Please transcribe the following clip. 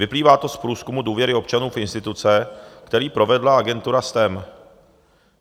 Vyplývá to z průzkumu důvěry občanů v instituce, který provedla agentura STEM.